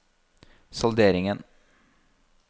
salderingen